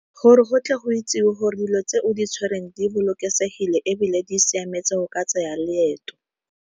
Gore go tle go itsiwe gore dilo tse o di tshwereng di bolokesegile, ebile di siametse go ka tsaya leeto.